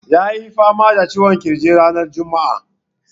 Ya yi fama da ciwon ƙirji ranar juma'a.